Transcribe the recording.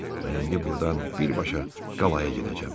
Mən indi burdan birbaşa Qalaya gedəcəm.